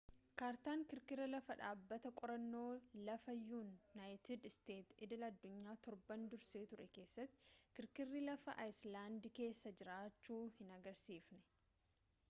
kaartaan kirkira lafaa dhaabbata qorannoo lafaa yuunaayitid isteetsi idil-adduunyaa torban dursee ture keessatti kirkirri lafaa aayiislaandikeessa jiraachuu hin agarsiisne